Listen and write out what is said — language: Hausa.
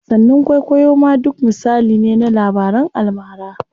Wasanni kwaikwayo ma duk misali ne na labaran almara.